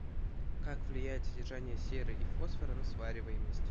как влияет содержание серы и фосфора на свариваемость